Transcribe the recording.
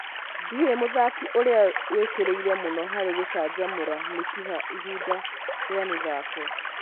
Ndĩũĩ mũthaki ũrĩa wĩkĩrĩire mũno harĩ gũcanjamũra mĩkiha ihinda rĩa mĩthako